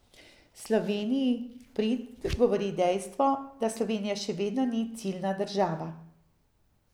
Sloveniji v prid govori dejstvo, da Slovenija še vedno ni ciljna država.